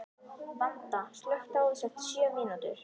Vanda, slökktu á þessu eftir sjö mínútur.